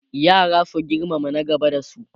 yara su girmama na gaba da su